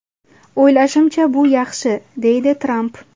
O‘ylashimcha, bu yaxshi”, deydi Tramp.